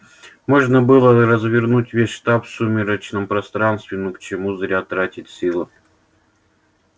можно было развернуть весь штаб в сумеречном пространстве но к чему зря тратить силы